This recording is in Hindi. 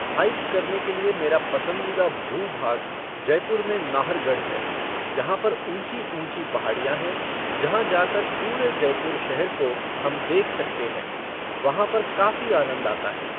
हाइक करने के लिए मेरा पसंदीदा भू भाग जयपुर में नाहरगढ़ है जहां पर ऊँची ऊँची पहाड़ियां हैं जहां जाकर पूरे जयपुर शहर को हम देख सकते हैं। वहां पर काफ़ी आनंद आता है